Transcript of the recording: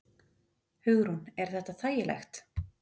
Hugrún: Er þetta þægilegt?